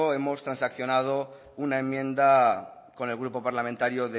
hemos transaccionado una enmienda con el grupo parlamentario